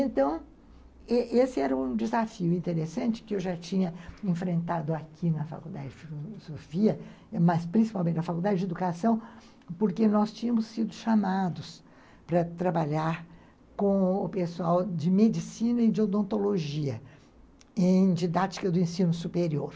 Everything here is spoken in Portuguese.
Então, esse era um desafio interessante que eu já tinha enfrentado aqui na Faculdade de Filosofia, mas principalmente na Faculdade de Educação, porque nós tínhamos sido chamados para trabalhar com o pessoal de Medicina e de Odontologia em didática do ensino superior.